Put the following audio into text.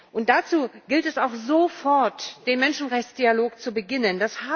Und dazu gilt es auch sofort, den Menschenrechtsdialog zu beginnen.